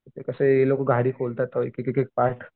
ते कसे हे लोक गाडी खोलतात एक एक पार्ट